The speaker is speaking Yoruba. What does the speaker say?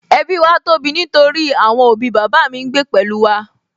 Ẹbí wa tóbi nítorí àwọn òbí bàbá mi ń gbé pẹ̀lú wa